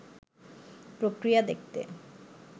প্রক্রিয়া দেখতে